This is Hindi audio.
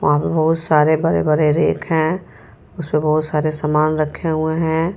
वहां पे बहुत सारे बरे-बरे रेक हैं उसपे बहुत सारे सामान रखे हुए हैं।